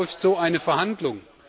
Läuft so eine Verhandlung?